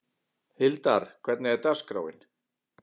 Hildar, hvernig er dagskráin?